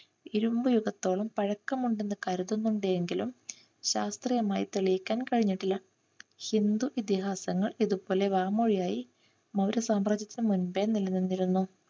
ഇരുമ്പ് യുഗത്തോളം പഴക്കമുണ്ടെന്ന് കരുതുന്നുണ്ട് എങ്കിലും ശാസ്ത്രീയമായി തെളിയിക്കാൻ കഴിഞ്ഞിട്ടില്ല. ഹിന്ദു ഇതിഹാസങ്ങൾ ഇതുപോലെ വാമൊഴിയായി മൗര്യസാമ്രാജ്യത്തിന് മുൻപേ നിലനിന്നിരുന്നു.